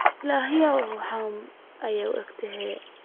Illahey ruxdhena ayuu ogyhy.